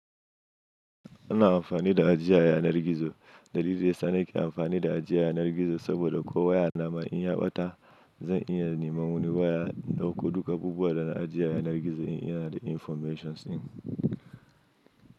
Ana amfani da ajiye yanar gizo. Dalili daya sa nake amfani da ajiya a yanar gizo saboda ko waya na in ya ɓata, zan iya nema wani waya dauko duk abubuwan da na ajiye a yanar gizo in inada informations ɗin.